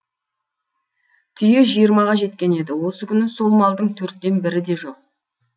түйе жиырмаға жеткен еді осы күні сол малдың төрттен бірі де жоқ